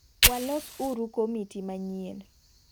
Walos uru komiti manyien.